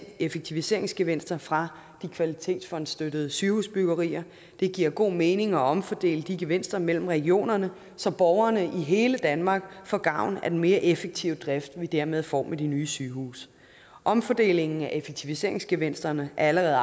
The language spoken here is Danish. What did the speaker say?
effektiviseringsgevinster fra de kvalitetsfondsstøttede sygehusbyggerier det giver god mening at omfordele de gevinster mellem regionerne så borgerne i hele danmark får gavn af den mere effektive drift som vi dermed får med de nye sygehuse omfordelingen af effektiviseringsgevinsterne er allerede